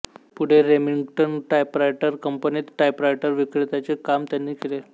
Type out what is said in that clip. पुढे Remington typewriter कंपनीत टाइपरायटरविक्रेत्याचे काम त्यांनी केले